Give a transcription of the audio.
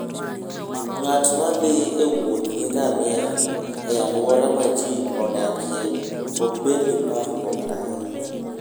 Ng'at ma thi e wuoth gi ngamia e alwora ma ji odakie, ok bed gi parruok ahinya.